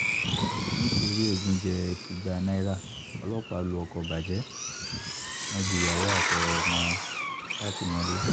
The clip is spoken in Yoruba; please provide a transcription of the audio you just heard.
nitori egunjẹ igba naira, ọlọpa lu ọkọ bajẹ, wọn ju yawo atọmọ si atimọle